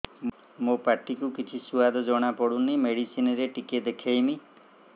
ମୋ ପାଟି କୁ କିଛି ସୁଆଦ ଜଣାପଡ଼ୁନି ମେଡିସିନ ରେ ଟିକେ ଦେଖେଇମି